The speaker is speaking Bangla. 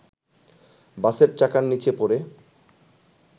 বাসের চাকার নিচে পড়ে